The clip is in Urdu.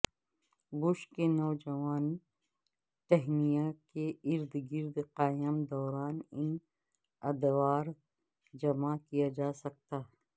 بش کے نوجوان ٹہنیاں کے ارد گرد قائم دوران ان ادوار جمع کیا جا سکتا